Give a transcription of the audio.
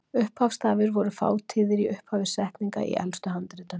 Upphafsstafir voru fátíðir í upphafi setninga í elstu handritum.